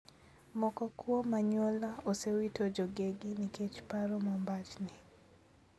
Moko kuom anyuola osewito jogegi nikech paro mombachni (neko).